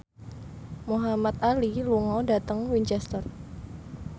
Muhamad Ali lunga dhateng Winchester